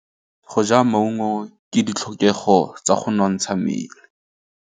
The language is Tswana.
Go ja maungo ke ditlhokegô tsa go nontsha mmele.